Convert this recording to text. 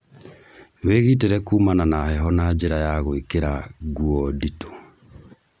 Wĩgitĩre kumana na heho na njĩra ya gwĩkĩra guo nditũ